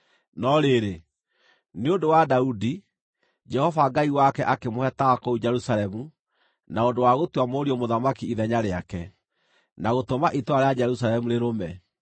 No rĩrĩ, nĩ ũndũ wa Daudi, Jehova Ngai wake akĩmũhe tawa kũu Jerusalemu na ũndũ wa gũtua mũriũ mũthamaki ithenya rĩake, na gũtũma itũũra rĩa Jerusalemu rĩrũme.